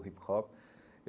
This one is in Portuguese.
O hip-hop.